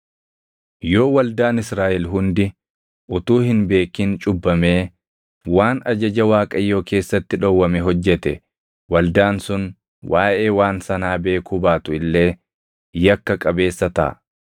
“ ‘Yoo waldaan Israaʼel hundi utuu hin beekin cubbamee waan ajaja Waaqayyoo keessatti dhowwame hojjete waldaan sun waaʼee waan sanaa beekuu baatu illee yakka qabeessa taʼa.